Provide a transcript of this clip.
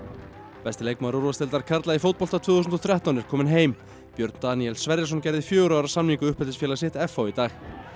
besti leikmaður úrvalsdeildar karla í fótbolta tvö þúsund og þrettán er kominn heim Björn Daníel Sverrisson gerði fjögurra ára samning við sitt f h í dag